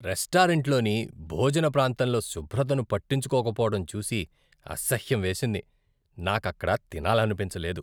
రెస్టారెంట్లోని భోజన ప్రాంతంలో శుభ్రతను పట్టించుకోకపోవడం చూసి అసహ్యం వేసింది, నాకక్కడ తినాలనిపించలేదు.